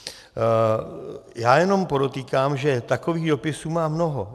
Já jenom podotýkám, že takových dopisů mám mnoho.